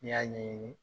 N'i y'a ɲɛɲini